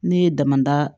Ne ye dama da